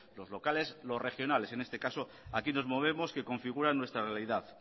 los locales los regionales en este caso aquí nos movemos que configuran nuestra realidad